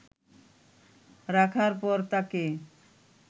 রাখার পর তাকে